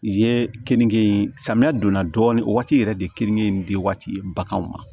Ye kenige in samiya donna dɔɔnin o waati yɛrɛ de keninge in di waati baganw ma